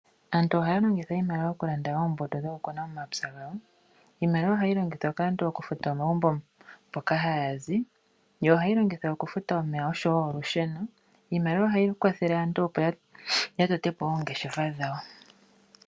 Aantu ohaya longitha iimaliwa okulanda oombuto dhokukuna momapya gawo. Iimaliwa ohayi longithwa kaantu okufuta omagumbo moka haya zi. Ohayi longithwa kaantu okufuta omeya oshowo olusheno. Iimaliwa ohayi kwathele aantu okutota oongeshefa dhawo.